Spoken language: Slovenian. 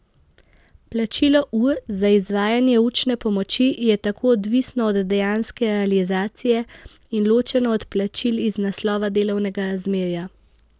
Plačilo ur za izvajanje učne pomoči je tako odvisno od dejanske realizacije, in ločeno od plačil iz naslova delovnega razmerja.